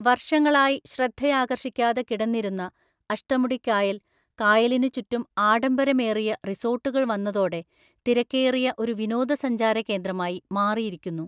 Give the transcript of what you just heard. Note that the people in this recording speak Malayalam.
വർഷങ്ങളായി ശ്രദ്ധയാകർഷിക്കാതെ കിടന്നിരുന്ന അഷ്ടമുടിക്കായൽ, കായലിനുചുറ്റും ആഡംബരമേറിയ റിസോർട്ടുകൾ വന്നതോടെ തിരക്കേറിയ ഒരു വിനോദസഞ്ചാരകേന്ദ്രമായി മാറിയിരിക്കുന്നു.